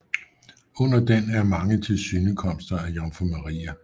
Under den er mange tilsynekomster af Jomfru Maria